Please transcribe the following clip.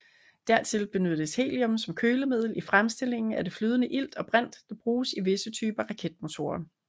Dertil benyttes helium som kølemiddel i fremstillingen af det flydende ilt og brint der bruges i visse typer raketmotorer